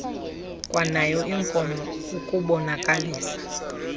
kwanayo inkomo ukubonakalisa